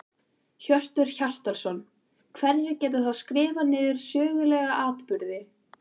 Hjörtur Hjartarson: Hverjir geta þá skrifað niður sögulega atburði?